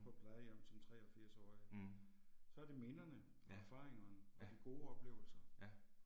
På plejehjem som 83-årige. Så er det minderne og erfaringerne og de gode oplevelser